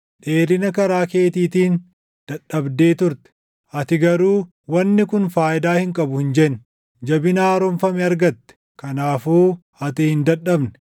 Dheerina karaa keetiitiin dadhabdee turte; ati garuu, ‘Wanni kun faayidaa hin qabu’ hin jenne. Jabina haaromfame argatte; kanaafuu ati hin dadhabne.